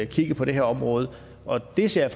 kigge på det her område og det ser